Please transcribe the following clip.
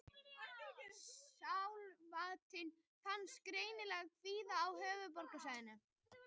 Skjálftinn fannst greinilega víða á höfuðborgarsvæðinu